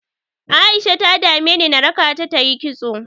A'isha ta dameni na raka ta ta yi kitso.